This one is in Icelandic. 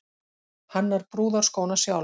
Hannar brúðarskóna sjálf